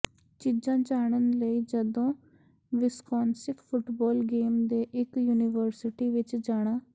ਚੀਜ਼ਾਂ ਜਾਣਨ ਲਈ ਜਦੋਂ ਵਿਸਕੌਨਸਿਨ ਫੁਟਬਾਲ ਗੇਮ ਦੇ ਇੱਕ ਯੂਨੀਵਰਸਿਟੀ ਵਿੱਚ ਜਾਣਾ